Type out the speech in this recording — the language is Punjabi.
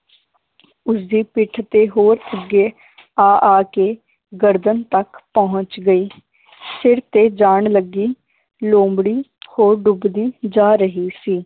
ਉਸਦੀ ਪਿੱਠ ਤੇ ਹੋਰ ਅੱਗੇ ਆ ਆ ਕੇ ਗਰਦਨ ਤੱਕ ਪਹੁੰਚ ਗਈ ਸਿਰ ਤੇ ਜਾਨ ਲੱਗੀ ਲੋਮੜੀ ਹੋਰ ਡੁੱਬਦੀ ਜਾ ਰਹੀ ਸੀ